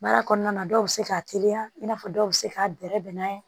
Baara kɔnɔna na dɔw bɛ se k'a teliya i n'a fɔ dɔw bɛ se k'a bɛrɛbɛn n'a ye